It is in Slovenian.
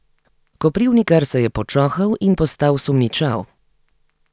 Koprivnikar se je počohal in postal sumničav.